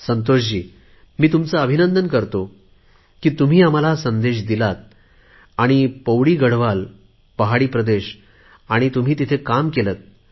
संतोषजी मी तुमचे अभिनंदन करतो की तुम्ही आम्हाला हा संदेश दिलात आणि पौडी गढवाल पहाडी प्रदेश आणि तुम्ही तिथे काम केलेत